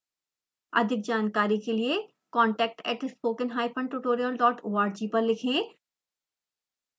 अधिक जानकारी के लिए contact at spokentutorialorg पर लिखें